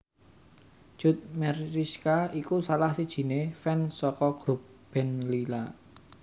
Cut Meyriska iku salah sijine fans saka grup band Lyla